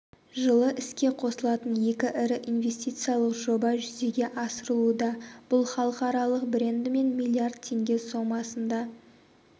жылы іске қосылатын екі ірі инвестициялық жоба жүзеге асырылуда бұл халықаралық брендімен миллиард теңге сомасында